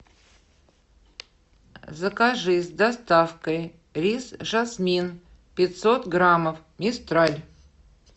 закажи с доставкой рис жасмин пятьсот граммов мистраль